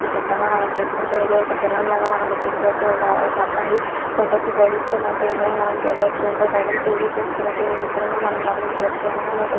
ఈ చిత్రంలో మనం చూసుకుంటే ఇది ఒక్క సెలూన్ లాగా మనం గుర్తించవచ్చు. ఒక్ ఒక్క అబ్బాయి ఫోటో కి పోజ్ ఇస్తున్నట్టు ఇందులో మనం చూడవచ్చు. ఇంకొకతను టీవీ చూస్తున్నట్టు ఈ చిత్రంలో మనం గమనించవచ్చు. ఎనకాలా ఒక్క--